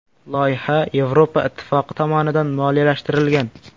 Loyiha Yevropa ittifoqi tomonidan moliyalashtirilgan.